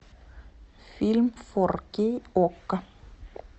фильм фор кей окко